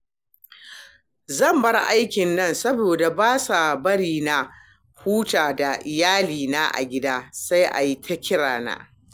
Zan bar aikin nan saboda ba sa bari na huta da iyalina a gida, sai a yi ta kirana